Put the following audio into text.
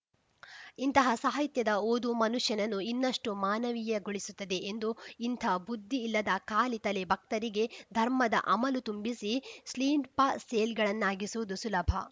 ಇಂತಹ ಸಾಹಿತ್ಯದ ಓದು ಮನುಷ್ಯನನ್ನು ಇನ್ನಷ್ಟುಮಾನವೀಯಗೊಳಿಸುತ್ತದೆ ಎಂದು ಇಂಥ ಬುದ್ಧಿ ಇಲ್ಲದ ಖಾಲಿ ತಲೆ ಭಕ್ತರಿಗೆ ಧರ್ಮದ ಅಮಲು ತುಂಬಿಸಿ ಸ್ಲಿಂಪಾ ಸೇಲ್ ಗಳನ್ನಾಗಿಸುವುದು ಸುಲಭ